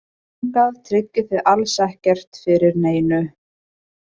Að fara þangað tryggir þig alls ekkert fyrir neinu.